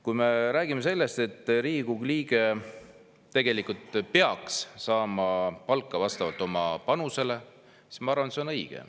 Kui me räägime sellest, et Riigikogu liige peaks saama palka vastavalt oma panusele, siis ma arvan, et see on õige.